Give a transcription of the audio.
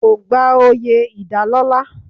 Kò gba oyè ìdálọ́lá.